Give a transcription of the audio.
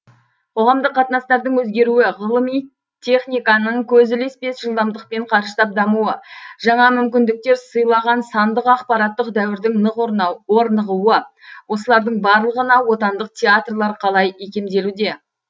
қоғамдық қатынастардың өзгеруі ғылым техниканың көз ілеспес жылдамдықпен қарыштап дамуы жаңа мүмкіндіктер сыйлаған сандық ақпараттық дәуірдің нық орнығуы осылардың барлығына отандық театрлар қалай икемделуде